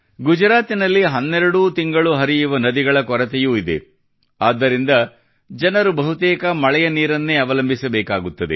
ಗುಜರಾತಿನಲ್ಲಿ ಹನ್ನೆರಡು ತಿಂಗಳೂ ಹರಿಯುವ ನದಿಗಳ ಕೊರತೆಯೂ ಇದೆ ಆದ್ದರಿಂದ ಜನರು ಬಹುತೇಕ ಮಳೆಯ ನೀರನ್ನೇ ಅವಲಂಬಿಸಬೇಕಾಗುತ್ತದೆ